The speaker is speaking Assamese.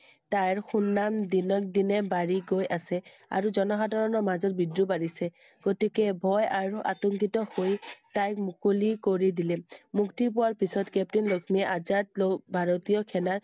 তাৰ সুনাম দিনক দিনে বাঢ়ি গৈ আছে আৰু জনসাধাৰণৰ মাজত বিদ্ৰোহ বাঢ়িছে গতিকে ভয় আৰু আতংকিত হৈ তাইক মুকলি কৰি দিলে I মুক্তিপোৱাৰ পিছত captain লক্ষ্মীয়ে আজাদ লোক ভাৰতীয় সেনাৰ